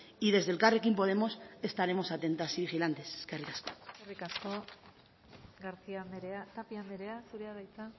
desde elkarrekin podemos estaremos atentas y vigilantes eskerrik asko eskerrik asko garcía anderea tapia anderea zurea da hitza